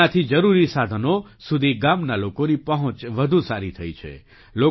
તેનાથી જરૂરી સાધનો સુધી ગામના લોકોની પહોંચ વધુ સારી થઈ છે